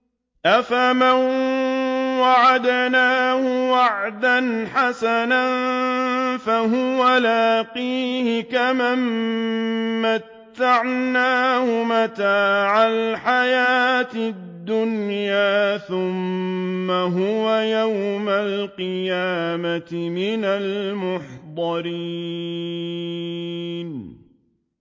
أَفَمَن وَعَدْنَاهُ وَعْدًا حَسَنًا فَهُوَ لَاقِيهِ كَمَن مَّتَّعْنَاهُ مَتَاعَ الْحَيَاةِ الدُّنْيَا ثُمَّ هُوَ يَوْمَ الْقِيَامَةِ مِنَ الْمُحْضَرِينَ